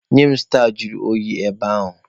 Nye m staa juru oyi ebe ahụ!